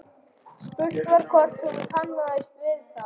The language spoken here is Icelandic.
Spurt var hvort hún kannaðist við það?